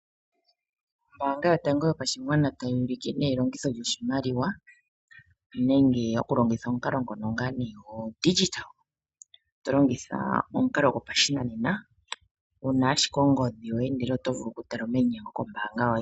Ombaanga yotango yopashigwana tayi ulike elongitho lyoshimaliwa nenge okulongitha omukalo gopashinanena wuna ashike ongodhi yoye . Opo wu vule okutala omayinyengo kombaanga yoye.